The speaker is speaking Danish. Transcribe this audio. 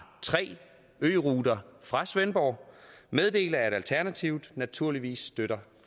tre øruter fra svendborg meddele at alternativet naturligvis støtter